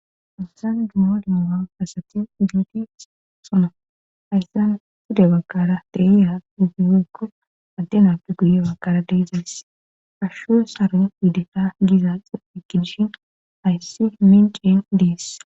Hayisann duma duma asati idinti sona hayssan fude bakara deiya igureekko addenapu guye bakara deezayss ashsho saron iideta gizaekidishin ayssi minceen deess